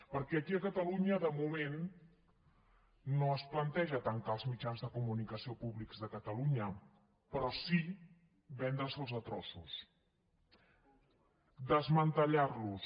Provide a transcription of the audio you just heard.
perquè aquí a catalunya de moment no es planteja tancar els mitjans de comunicació públics de catalunya però sí vendre se’ls a trossos desmantellar los